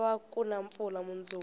ku lava kuna mpfula munduku